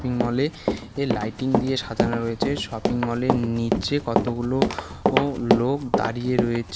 মলে -এ লাইটিং দিয়ে সাজানো রয়েছে শপিং মলের -এর নীচে কতগুলো ও লোক দাঁড়িয়ে রয়েছে।